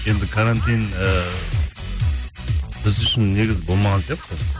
енді карантин ыыы біз үшін негізі болмаған сияқты